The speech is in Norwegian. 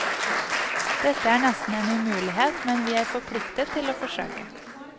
Dette er nesten en umulighet, men vi er forpliktet til å forsøke.